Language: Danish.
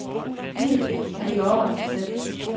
Nyd det, for det går over af sig selv.